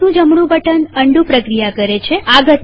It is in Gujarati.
માઉસનું જમણું બટન અન્ડૂ પ્રક્રિયા કરે છે